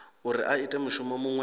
uri a ite mushumo muṅwe